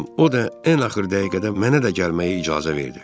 O da ən axır dəqiqədə mənə də gəlməyə icazə verdi.